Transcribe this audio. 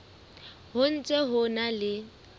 ho ntse ho na le